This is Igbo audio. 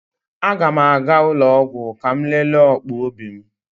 A ga m aga ụlọ ọgwụ ka m lelee ọkpụ obi m